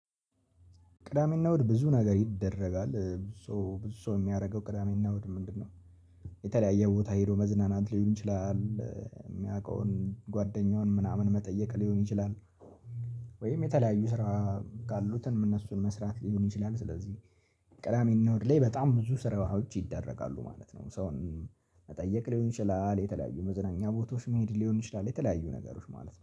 ቅዳሜና እሁድ ብዙ ነገር ይደረጋል። ብዙ ብዙ ሰው የሚያደርገው ቅዳሜና ውድ ምንድነው የተለያየ ቦታ ሄዶ መዝናናት ሊሆን ይችላል፣ የሚያውቀውን ጓደኛውን ምናምን መጠየቅ ሊሆን ይችላል፣ ወይም የተለያዩ ስራ ካሉት እነሱን መስራት ሊሆን ይችላል፣ ስለዚህ ቅዳሚ እና እሁድ ላይ በጣም ብዙ ስራዎች ይደረጋሉ ማለት ነው። ሰውን መጠየቅ ሊሆን ይችላል፣ የተለያዩ መዝናኛ ቦታዎች መሄድ ሊሆን ይችላል፣ የተለያዩ ነገሮች ማለት ነው።